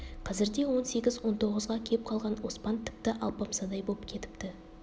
қазірде он сегіз он тоғызға кеп қалған оспан тіпті алпамсадай боп кетіпті